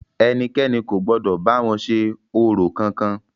Ẹnikẹ́ni kò gbọdọ̀ bá wọn ṣe orò kankan!